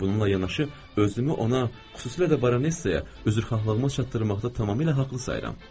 Bununla yanaşı, özümü ona, xüsusilə də baronesaya üzrxahlığımı çatdırmaqda tamamilə haqlı sayıram.